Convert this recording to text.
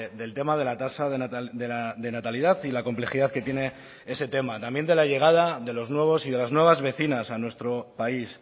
del tema de la tasa de natalidad y la complejidad que tiene ese tema también de la llegada de los nuevos y de las nuevas vecinas a nuestro país